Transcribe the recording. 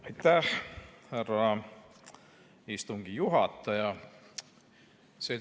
Aitäh, härra istungi juhataja!